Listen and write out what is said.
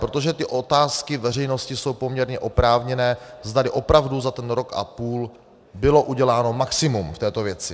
Protože ty otázky veřejnosti jsou poměrně oprávněné, zdali opravdu za ten rok a půl bylo uděláno maximum v této věci.